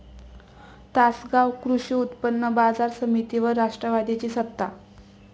तासगाव कृषी उत्पन्न बाजार समितीवर राष्ट्रवादीची सत्ता